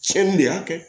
Cɛnni de y'a kɛ